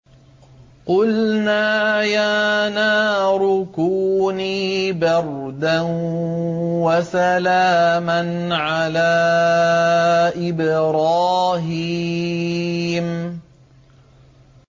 قُلْنَا يَا نَارُ كُونِي بَرْدًا وَسَلَامًا عَلَىٰ إِبْرَاهِيمَ